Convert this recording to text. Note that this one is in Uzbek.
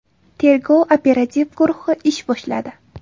Tergov-operativ guruhi ish boshladi.